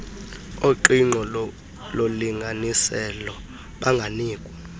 oqingqo lolinganiselo banganikwa